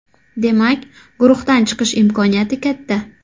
Demak, guruhdan chiqish imkoniyati katta.